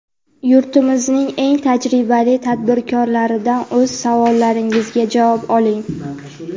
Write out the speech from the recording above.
yurtimizning eng tajribali tadbirkorlaridan o‘z savollaringizga javob oling!.